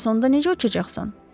Bəs onda necə uçacaqsan?